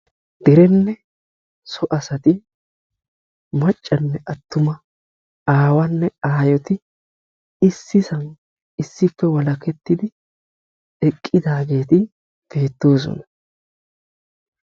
derenne so asay macanne attuma awanne aayonne issisan issippe walakettidi eqqidaageeti beetoosona.